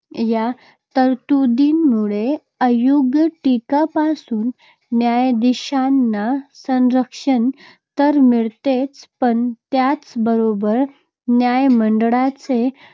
या तरतुदींमुळे अयोग्य टीकेपासून न्यायाधीशांना संरक्षण तर मिळतेच पण त्याच बरोबर न्यायमंडळाचे